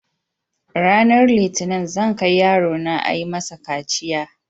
Ranar litinin zan kai yarona ayi masa kaciya.